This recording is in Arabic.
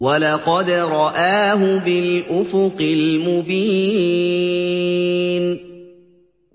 وَلَقَدْ رَآهُ بِالْأُفُقِ الْمُبِينِ